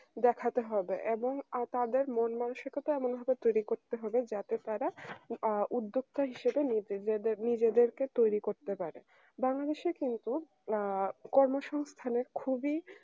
দেখাতে হবে এবং আ তাদের মন মানসিকতা এমন ভাবে তৈরি করতে হবে যাতে তারা আ উদ্যোক্তা হিসেবে নিজেদের নিজেদেরকে তৈরি করতে পারে বাংলাদেশের কিন্তু আহ কর্মসংস্থানের খুবই